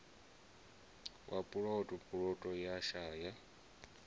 wa puloto puloto ya shaya